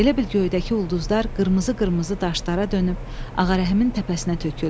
Elə bil göydəki ulduzlar qırmızı-qırmızı daşlara dönüb Ağarəhimin təpəsinə töküldü.